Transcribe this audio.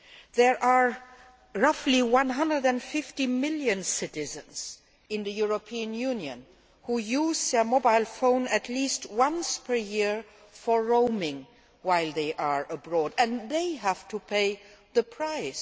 There are roughly 150 million citizens in the European Union who use their mobile phone at least once per year for roaming while they are abroad, and they have to pay the price.